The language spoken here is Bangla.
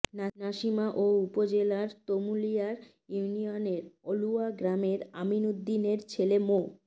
নাসিমা ও উপজেলার তুমলিয়া ইউনিয়ের অলুয়া গ্রামের আমিন উদ্দিনের ছেলে মো